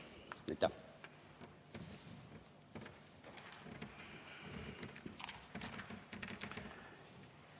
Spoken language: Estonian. Aitäh!